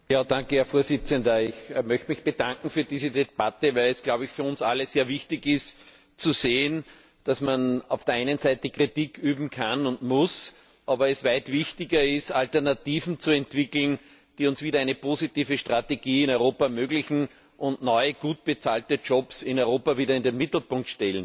Herr Präsident! Ich möchte mich für diese Debatte bedanken, weil es für uns alle sehr wichtig ist zu sehen, dass man auf der einen Seite Kritik üben kann und muss, aber es weit wichtiger ist, Alternativen zu entwickeln, die uns wieder eine positive Strategie in Europa ermöglichen und neue, gut bezahlte Jobs in Europa wieder in den Mittelpunkt stellen.